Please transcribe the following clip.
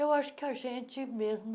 Eu acho que a gente mesmo